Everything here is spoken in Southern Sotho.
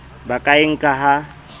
ba ka e nkang ha